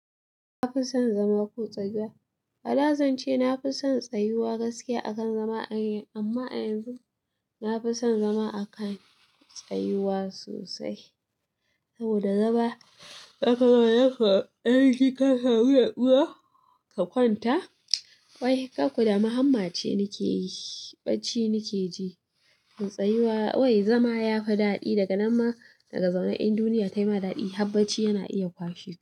Ka fi son zama ƙo tsayuwa A da zance na fi son tsayuwa gaskiya akan zama a yin, amma a yanzu na fi son zama a kan tsayuwa sosai. Saboda zama zaka ga wannan kuwa karfi ka samu natsuwa ka kwanta. Wai, ƙaƙudamu hamma ce nake yi, bacci nake ji. To tsayuwa, wai zama ya fi daɗi daga nan ma daga zaune in duniya tayi ma daɗi, habbacci yana iya kwashe ka.